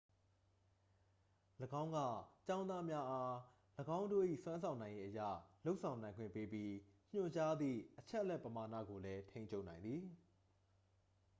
၎င်းက ကျောင်းသားများအား ၎င်းတို့၏စွမ်းဆောင်နိုင်ရည် အရ လုပ်ဆောင်နိုင်ခွင့်ပေးပြီး ညွှန်ကြားသည့်အချက်အလက်ပမာဏကိုလည်း ထိန်းချုပ်နိုင်သည်